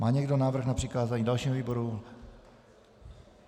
Má někdo návrh na přikázání dalšímu výboru?